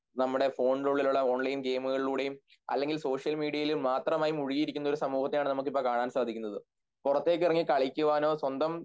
നമ്മുടെ ഫോണിനുള്ളിലുള്ള ഓൺലൈൻ ഗെയിമുകളിലൂടെയും അല്ലെങ്കിൽ സോഷ്യൽമീഡിയയിൽ മാത്രംമായി മുഴുകിയിരിക്കുന്ന ഒരു സമൂഹത്തെയാണ് നമ്മൾക്ക് ഇപ്പോൾ കാണാൻ സാധിക്കുന്നത് പുറത്തേക്കിറങ്ങി കളിക്കുവാനോ സ്വന്തം